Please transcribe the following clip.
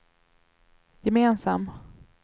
gemensam